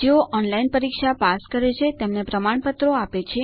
જેઓ ઓનલાઇન પરીક્ષા પાસ કરે છે તેમને પ્રમાણપત્રો આપે છે